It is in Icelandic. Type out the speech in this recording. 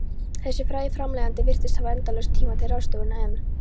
Þessi frægi framleiðandi virtist hafa endalausan tíma til ráðstöfunar, en